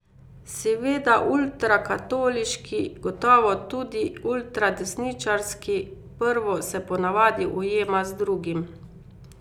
Seveda ultrakatoliški, gotovo tudi ultradesničarski, prvo se po navadi ujema z drugim.